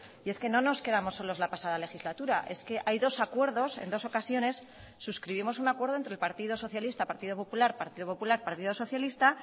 y es que no nos quedamos solos la pasada legislatura es que hay dos acuerdos en dos ocasiones suscribimos un acuerdo entre el partido socialista partido popular partido popular partido socialista